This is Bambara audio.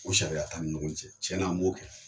U sariya t'an ni ɲɔgɔn cɛ tiɲɛ an m'o kɛ